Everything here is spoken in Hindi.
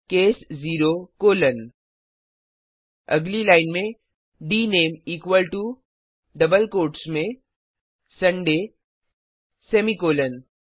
केस 0 कोलोन अगली लाइन में dname equal to double quotes में सुंदय सेमीकॉलन